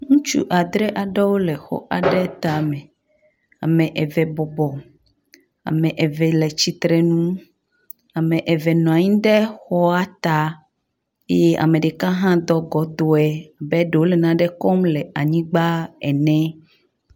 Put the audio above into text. ŋutsu adre aɖewo le xɔ aɖe táme, ame eve bɔbɔ ame eve le tsitrenu ame eve nɔanyi ɖe xɔa tá eye ameɖeka hã dɔ gɔdɔe abe ɖewo le naɖe kɔm le anyigbã ene